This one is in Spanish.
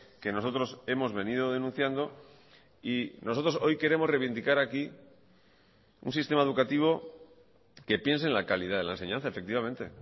que nosotros hemos venido denunciando y nosotros hoy queremos reivindicar aquí un sistema educativo que piense en la calidad de la enseñanza efectivamente